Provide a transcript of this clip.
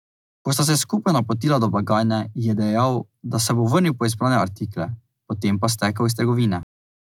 Ko sta se skupaj napotila do blagajne, ji je dejal, da se bo vrnil po izbrane artikle, potem pa stekel iz trgovine.